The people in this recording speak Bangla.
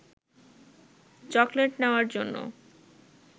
চকলেট নেওয়ার জন্য